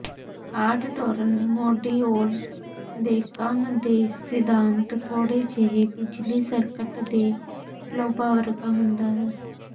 ਆਟਟੋਰਨ module ਦੇ ਕੰਮ ਦੇ ਸਿਧਾਂਤ ਥੋੜ੍ਹੇ ਜਿਹੇ ਬਿਜਲੀ ਸਰਕਟ ਦੇ ਲੋਬਾਂ ਵਰਗਾ ਹੁੰਦਾ ਹੈ